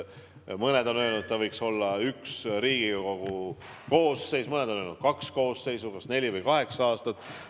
Mõned on öelnud, et see võiks kesta ühe Riigikogu koosseisu, mõned on öelnud, et kaks koosseisu, kas neli või kaheksa aastat.